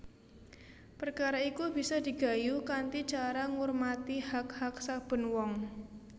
Perkara iku bisa digayuh kanthi cara ngurmati hak hak saben wong